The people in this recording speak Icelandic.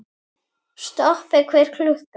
Stoppi hver klukka!